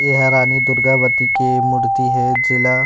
यहाँ रानी दुर्गावती के मूर्ति हे जेला--